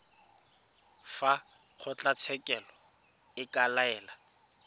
fa kgotlatshekelo e ka laela